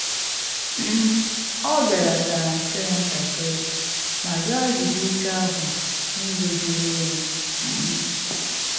um Ọ belatara mpio ya ntakịrị ma zaa ajụjụ ike ahu n’ụzọ julu onyi um